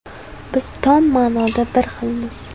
Biz tom ma’noda bir xilmiz.